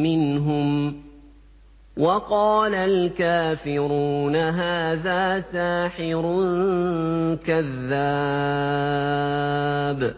مِّنْهُمْ ۖ وَقَالَ الْكَافِرُونَ هَٰذَا سَاحِرٌ كَذَّابٌ